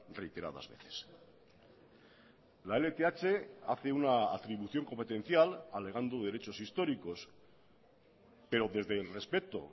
reiteradas veces la lth hace una atribución competencial alegando derechos históricos pero desde el respeto